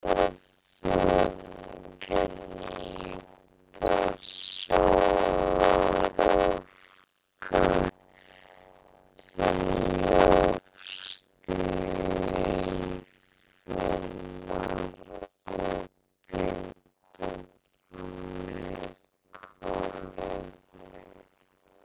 Plöntur og þörungar nýta sólarorka til ljóstillífunar og binda þannig kolefni.